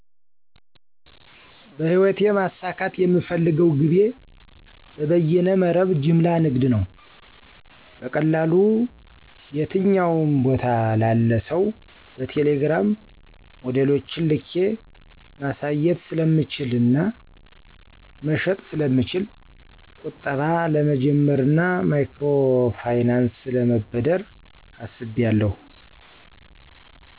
- በህይወቴ ማሳካት የምፈልገው ግቤ በበየነ መረብ ጅምላ ንግድ ነው። - በቀላሉ የትኛውም ቦታ ላለ ሰው በቴሌግራም ሞዴሎችን ልኬ ማሳየት ስለምችልና መሸጥ ስለምችል። - ቁጠባ ለመጀመርና ማይክሮ ፋይናንስ ለመበደር አስቢያለሁ።